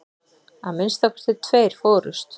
Að minnsta kosti tveir fórust.